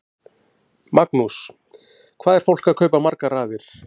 Magnús: Hvað er fólk að kaupa margar raðir?